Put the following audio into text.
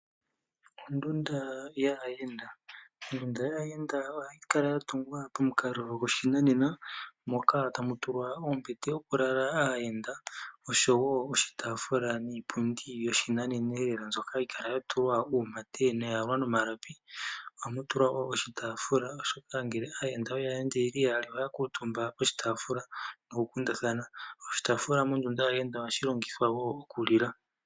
Ondunda yaayenda. Ondunda yaayenda ohayi kala ya tungwa pamukalo gwoshinanena moka tamu tulwa ombete yoku lala aayenda oshowo oshitaafula niipundi yoshinaneneelela mbyoka hayi kala ya tulwa uumate noya yalwa nomalapi. Ohamu tulwa wo oshitaafula oshoka aayenda ngele oye ya yeli yaali ohaya kuutumba poshitaafula ndele taya kundathana. Oshitaafula mondunda yaayenda ohashi longithwa wo omu lila.